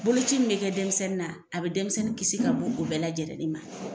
Boloci min be kɛ denmisɛnnin na a bɛ denmisɛnnin kisi ka bon o bɛɛ lajɛrɛlen ma